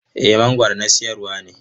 Eh mangoro na sayarwa ne.